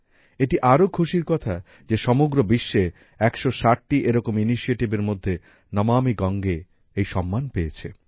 এটি আরও খুশির কথা যে সমগ্র বিশ্বে ১৬০ টি এরকম initiativeএর মধ্যে নমামি গঙ্গে এই সম্মান পেয়েছে